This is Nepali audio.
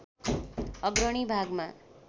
अग्रणी भागमा